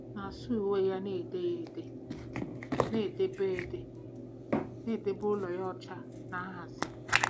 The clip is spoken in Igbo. na-asa uwe ya na-ede ya ede? na-edebe ede? na-edebe ụlọ ya ọcha na nhazi?